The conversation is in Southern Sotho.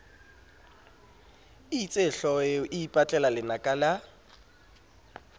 itsehlooho eo e ipatlelalenaka la